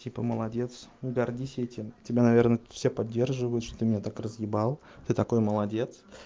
типа молодец гордись этим тебя наверное все поддерживают что ты меня так разъебал ты такой молодец